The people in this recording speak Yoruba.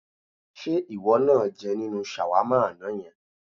Ṣé ìwọ náà jẹ nínú ṣàwámà àná yẹn?